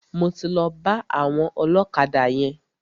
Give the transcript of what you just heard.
Mo ti lọ bá àwọn ọlọ́kadà yẹn.